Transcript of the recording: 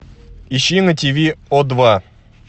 ищи на тв о два